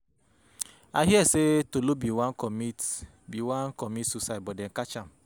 I hear say Tolu bin wan comit bin wan comit suicide but they catch am.